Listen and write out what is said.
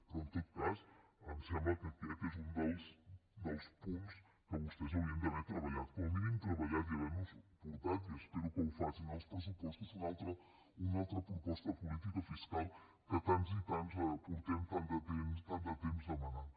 però en tot cas em sembla que aquest és un dels punts que vostès haurien d’haver treballat com a mínim treballat i haver nos portat i espero que ho facin als pressupostos una altra proposta de política fiscal que tants i tants fa tant de temps que demanem